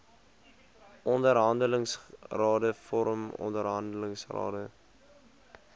onderhandelingsrade vorm onderhandelingsrade